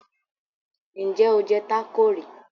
Ǹjẹ́ o jẹ tácò rí?